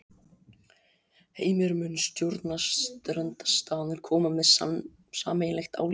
Heimir: Mun stjórnarandstaðan koma með sameiginlegt álit?